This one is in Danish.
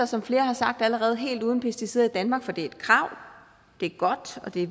som flere har sagt allerede helt uden pesticider i danmark for det er et krav det er godt og det